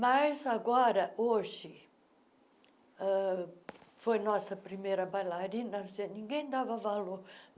Mas, agora, hoje, ãh foi a nossa primeira bailarina gen, ninguém dava valor.